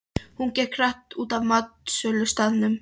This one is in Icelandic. Hún gekk hratt út af matsölustaðnum.